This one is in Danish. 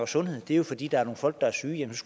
sundhed det er jo fordi der er nogle folk der er syge